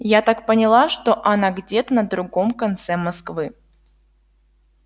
я так поняла что она где-то на другом конце москвы